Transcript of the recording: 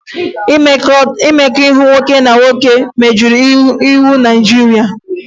Mmekọahụ nwoke na nwoke megidere iwu Naịjirịa